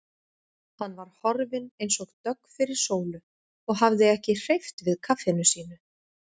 Hann var horfinn eins og dögg fyrir sólu og hafði ekki hreyft við kaffinu sínu.